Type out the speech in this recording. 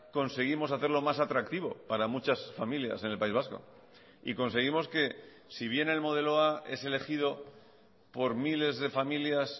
conseguimos hacerlo más atractivo para muchas familias en el país vasco y conseguimos que si bien el modelo a es elegido por miles de familias